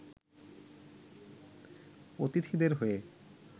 অতিথিদের হয়ে